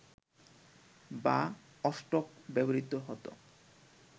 বা অষ্টক ব্যবহৃত হত